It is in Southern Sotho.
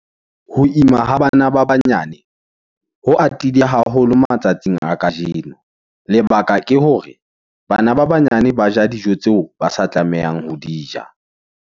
Ho ima ha bana ba banyane , ho atile haholo matsatsing a kajeno. Lebaka ke hore bana ba banyane ba ja dijo tseo, ba sa tlamehang ho di ja.